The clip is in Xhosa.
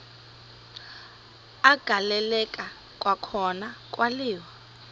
agaleleka kwakhona kwaliwa